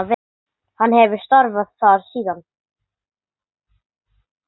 Hann hefur starfað þar síðan.